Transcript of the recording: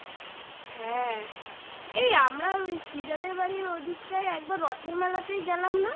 হ্যাঁ এই আমরা ওই শ্রীজাদের বাড়ির ওই দিকটায় একবার রথের মেলাতেই গেলাম না?